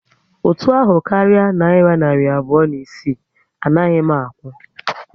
Ụtụ ahụ karịa nayira narị abụọ na isii, anaghị m akwụ